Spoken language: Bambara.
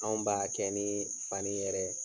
Anw b'a kɛ ni fani yɛrɛ ye.